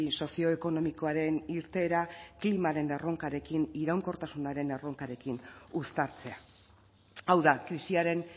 sozioekonomikoaren irteera klimaren erronkarekin iraunkortasunaren erronkarekin uztartzea hau da krisiaren